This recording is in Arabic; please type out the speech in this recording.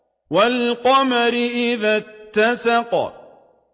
وَالْقَمَرِ إِذَا اتَّسَقَ